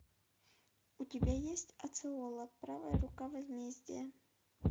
у тебя есть оцеола правая рука возмездия